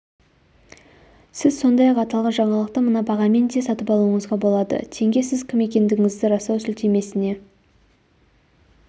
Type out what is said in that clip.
сіз сондай-ақ аталған жаңалықты мына бағамен де сатып алуыңызға болады тенге сіз кім екендігіңізді растау сілтемесіне